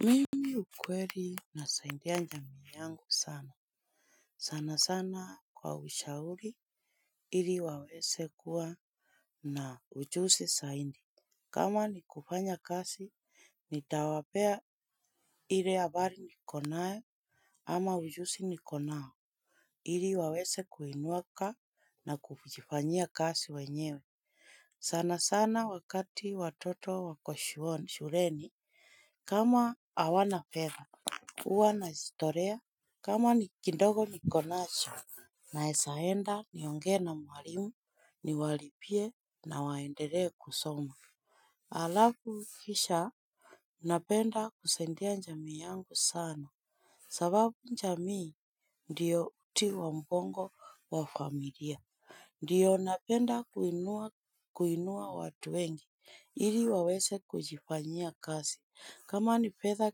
Mimi ukweli nasaidia jamii yangu sana sana sana kwa ushauri ili waweze kuwa na ujuzi zaidi. Kama ni kufanya kazi, nitawapea ile habari nikonayo ama ujuzi niko nao, ili waweze kuinuka na kujifanyia kazi wenyewe. Sana sana wakati watoto wako shuleni, kama hawana fedha huwa najitolea kama ni kinogo nikonacho naezaenda nionge na mwalimu niwalipie na waendelee kusoma. Alafu kisha napenda kusaidia jamii yangu sana. Sababu jamii ndiyo uti wa mgongo wa familia. Ndiyo napenda kuinua watu wengi, ili waweze kujifanyia kazi. Kama ni pesa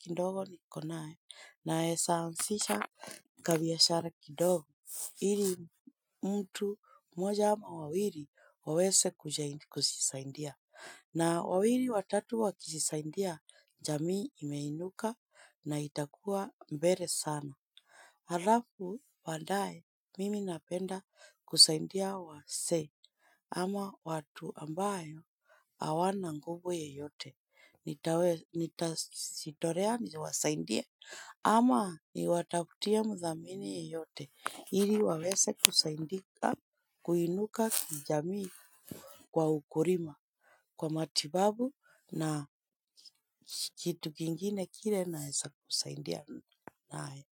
kidogo nikonayo, naeza anzisha kabiashara kidogo, ili mtu moja ama wawili waweze kujisaidia. Na wawili watatu wakijisaidia, jamii imeinuka na itakuwa mbele sana. Alafu, baadaye, mimi napenda kusaidia wazee, ama watu ambayo hawana nguvu yeyote. Nitajitolea niwasaidie, ama niwatafutie mdhamini yeyote. Ili waweze kusaidika, kuinuka kijamii kwa ukulima, kwa matibabu na kitu kingine kile naweza kusaidia nayo.